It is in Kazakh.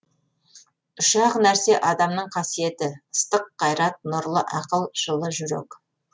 үш ақ нәрсе адамның қасиеті ыстық қайрат нұрлы ақыл жылы жүрек